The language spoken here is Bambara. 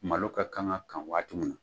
Malo ka kan ka kan waati na